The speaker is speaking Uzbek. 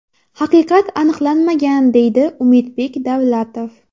Haqiqat aniqlanmagan”, deydi Umidbek Davlatov.